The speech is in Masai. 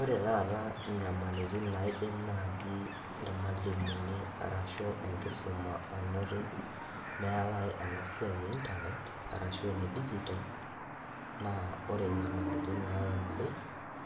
Ore taata inyamalitin naidim naji irmwalimuni arashu enkisuma anoto meetae ena siai einternet arashu enedigital naa ore inyamalitin naimari